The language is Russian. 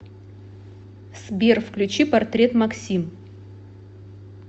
сбер включи портрет максим